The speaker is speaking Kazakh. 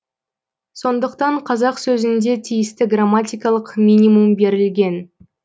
сондықтан қазақ сөзінде тиісті грамматикалық минимум берілген